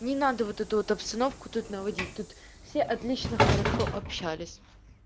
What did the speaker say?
не надо вот это вот обстановку тут наводить тут все отлично хорошо общались